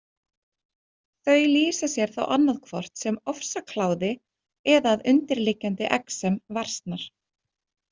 Þau lýsa sér þá annaðhvort sem ofsakláði eða að undirliggjandi exem versnar.